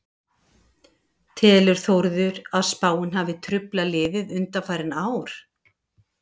Telur Þórður að spáin hafi truflað liðið undanfarin ár?